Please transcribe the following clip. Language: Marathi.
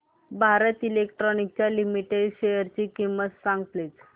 भारत इलेक्ट्रॉनिक्स लिमिटेड शेअरची किंमत सांगा प्लीज